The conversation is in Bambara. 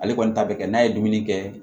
Ale kɔni ta bɛ kɛ n'a ye dumuni kɛ